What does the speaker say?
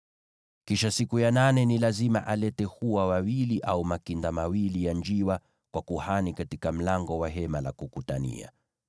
Kisha siku ya nane ni lazima alete hua wawili au makinda mawili ya njiwa kwa kuhani katika mlango wa Hema la Kukutania.